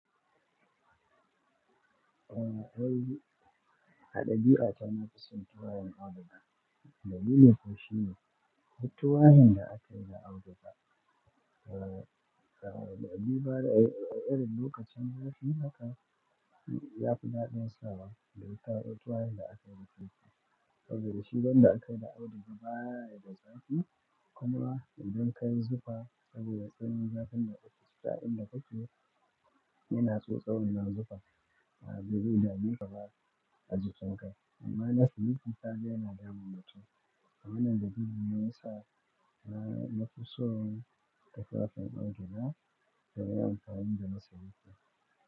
Eh, ai haɗa biyu a can na fi son tuwayen Auduga. Dalili ko shine, tuwayen da aka yi da Auduga, eh, dalili ba ne, erin lokacin zafi haka ya fi daɗin sawa da ita tuwayen da aka yi da kwai. Saboda shi don da aka yi da Auduga ba ya zafi, kuma idan ka yi zufa saboda tsananin zafin da yake da shi, ƙasa inda ka ci yana tsotsauna zuɓa. Ma a zube daji kuma ba a jikinka. Amma na siminti ta dai yana damun matu. Amma nan da biyu ne ya sa na fi so tufafin Auduga tare da kayan da na saya.